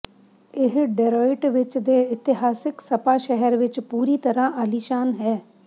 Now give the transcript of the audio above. ਇਹ ਡਰੋਇਟਵਿਚ ਦੇ ਇਤਿਹਾਸਕ ਸਪਾ ਸ਼ਹਿਰ ਵਿੱਚ ਪੂਰੀ ਤਰ੍ਹਾਂ ਆਲੀਸ਼ਾਨ ਹੈ